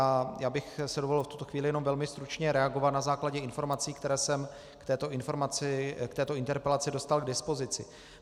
A já bych si dovolil v tuto chvíli jenom velmi stručně reagovat na základě informací, které jsem k této interpelaci dostal k dispozici.